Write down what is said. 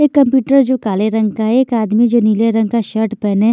एक कंप्यूटर जो काले रंग का एक आदमी जो नीले रंग का शर्ट पहने--